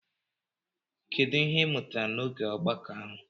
Kedu ihe ị mụtara n'oge ogbako ahụ?